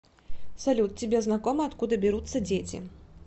салют тебе знакомо откуда берутся дети